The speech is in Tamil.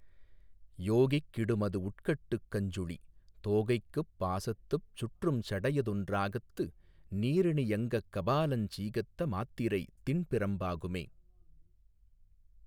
யோகிக் கிடுமது வுட்கட்டுக் கஞ்சுளி தோகைக்குப் பாசத்துப் சுற்றுஞ் சடையதொன்றாகத்து நீறணி யங்கக் கபாலஞ் சீகத்த மாத்திரை திண்பிரம் பாகுமே.